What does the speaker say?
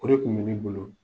O de kun be ne bolo